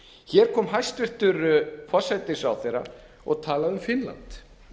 hér kom hæstvirtur forsætisráðherra og talaði um finnland